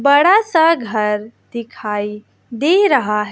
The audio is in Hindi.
बड़ा सा घर दिखाई दे रहा है।